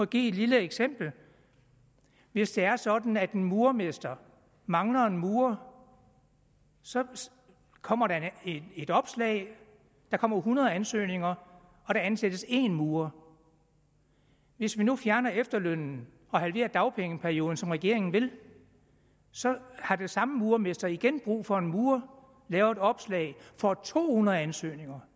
give et lille eksempel hvis det er sådan at en murermester mangler en murer så kommer der et opslag der kommer hundrede ansøgninger og der ansættes én murer hvis vi nu fjerner efterlønnen og halverer dagpengeperioden som regeringen vil så har den samme murermester igen brug for en murer laver et opslag og får to hundrede ansøgninger